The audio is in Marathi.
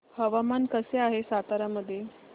हवामान कसे आहे सातारा मध्ये